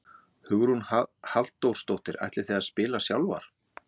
Hugrún Halldórsdóttir: Ætlið þið að spila sjálfar?